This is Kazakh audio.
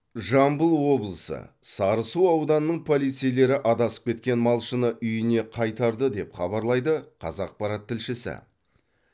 жамбыл облысы сарысу ауданының полицейлері адасып кеткен малшыны үйіне қайтарды деп хабарлайды қазақпарат тілшісі